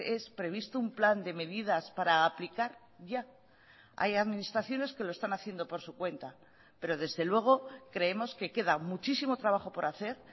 es previsto un plan de medidas para aplicar ya hay administraciones que lo están haciendo por su cuenta pero desde luego creemos que queda muchísimo trabajo por hacer